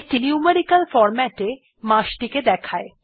এইটি numerical ফরম্যাটে মাস টি দেয়